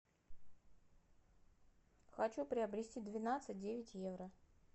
хочу приобрести двенадцать девять евро